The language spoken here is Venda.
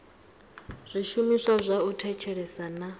zwishumiswa zwa u thetshelesa na